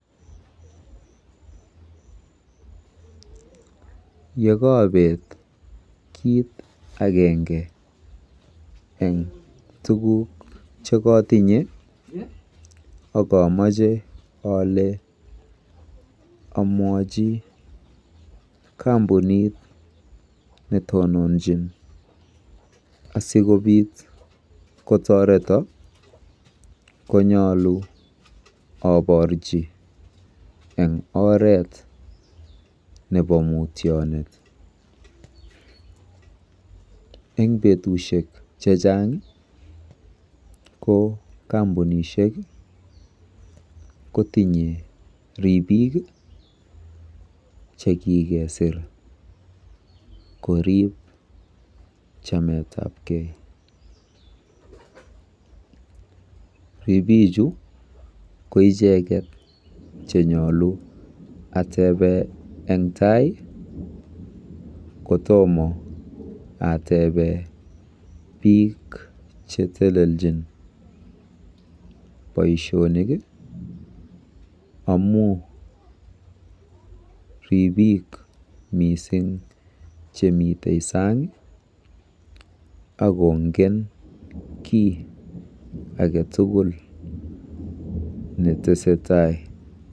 Yekaabeet kiit agenge eng tuguk chekotinye akomeche ole omwochi kampunit netononchin asikobiit kotoreto konyolu oborji eng oret nebo mutyonet. Eng betusiek chechang ko kampunisiek kotinye ribiik chekikesir koriib chametabkei. Ribichu ko icheket che nyulu atebe eng tai kotomo atebe biik cheteleljin boisionik amu ribiik mising chemite saang akongen kiy age tugul netesetai.